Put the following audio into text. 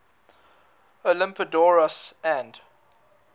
olympiodoros and